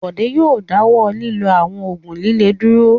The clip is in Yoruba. Bọ̀dé yóò dáwọ́ lílo àwọn òògùn líle dúró.